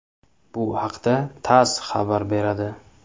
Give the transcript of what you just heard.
Bu haqda TASS xabar beradi .